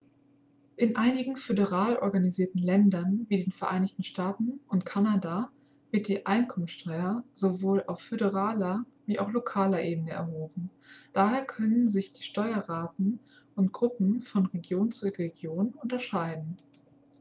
in einigen föderal organisierten ländern wie den vereinigten staaten und kanada wird die einkommenssteuer sowohl auf föderaler wie auch lokaler ebene erhoben daher können sich die steuerraten und gruppen von region zu region unterscheiden